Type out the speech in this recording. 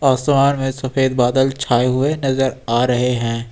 आसमान में सफेद बादल छाए हुए नजर आ रहे हैं।